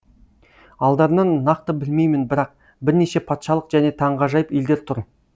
алдарынан нақты білмеймін бірақ бірнеше патшалық және таңғажайып елдер тұр